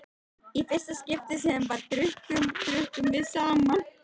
Í fyrsta skipti sem við drukkum, drukkum við saman.